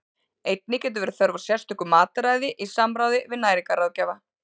Einnig getur verið þörf á sérstöku mataræði í samráði við næringarráðgjafa.